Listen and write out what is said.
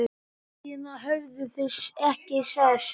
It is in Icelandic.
Síðan höfðu þau ekki sést.